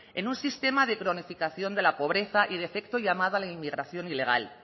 en un sistema de cronificación de la pobreza y de efecto llamada a la inmigración ilegal